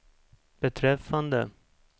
beträffande